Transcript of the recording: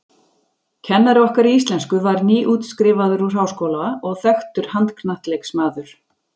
Kennari okkar í íslensku var nýútskrifaður úr háskóla og þekktur handknattleiksmaður.